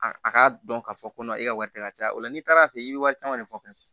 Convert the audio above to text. A a k'a dɔn k'a fɔ ko e ka wari tɛ ka caya o la n'i taara fɛ i bɛ wari caman de fɔ